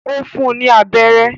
Ó fún ní abẹ́rẹ́